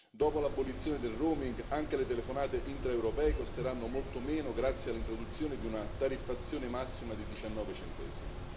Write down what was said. Dopo l'abolizione del roaming anche le telefonate intraeuropee costeranno molto meno grazie all'introduzione di una tariffazione massima di 19 centesimi.